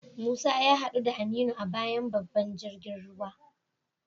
Musa ya hadu da Aminu a bayan babban jirgin ruwa.